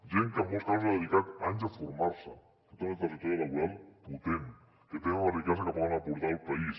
gent que en molts casos ha dedicat anys a formar se que té una trajectòria laboral potent que tenen una riquesa que poden aportar al país